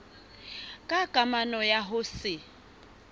ka kamano ya ho se